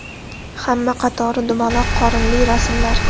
Hamma qatori dumaloq qorinli rasmlar.